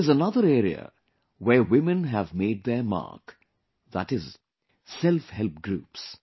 There is another area where women have made their mark, that is selfhelp groups